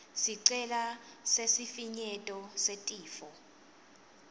sicelo sesifinyeto setifo